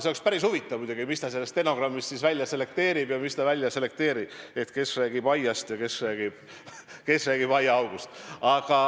See on päris huvitav muidugi, mis ta sellest stenogrammist siis välja selekteerib ja mis ta välja ei selekteeri, et kes räägib aiast ja kes räägib aiaaugust.